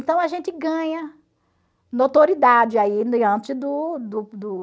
Então a gente ganha notoriedade aí diante do do do